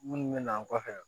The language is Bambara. Minnu bɛ na an kɔfɛ